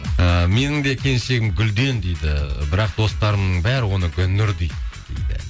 ыыы менің де келіншегім гүлден дейді бірақ достарымның бәрі оны гүлнұр дейді дейді